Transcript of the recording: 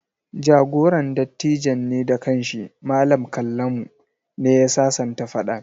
Jagoran dattijan ne da kan shi, Mallam Kallamu, ne ya sasanta faɗan.